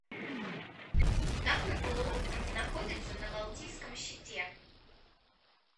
какой полуостров находится на балтийском щите